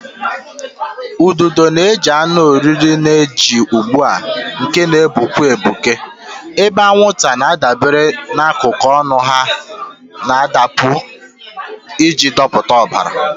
Ududo na-ejide anụ oriri na-eji ụgbụ nke na-egbuke egbuke, ebe anwụnta na-adabere na akụkụ ọnụ ha na-adụpu iji dọpụta ọbara.